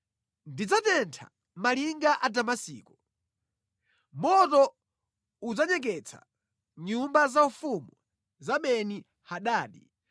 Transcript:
“Ndidzatentha malinga a Damasiko; moto udzanyeketsa nyumba zaufumu za Beni-Hadadi.”